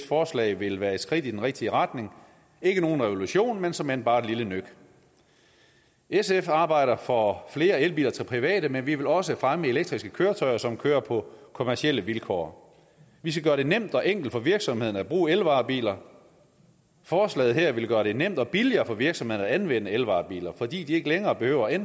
forslag vil være et skridt i den rigtige retning ikke nogen revolution men såmænd bare et lille nøk sf arbejder for flere elbiler til private men vi vil også fremme elektriske køretøjer som kører på kommercielle vilkår vi skal gøre det nemt og enkelt for virksomhederne at bruge elvarebiler forslaget her vil gøre det nemt og billigere for virksomhederne at anvende elvarebiler fordi de ikke længere behøver at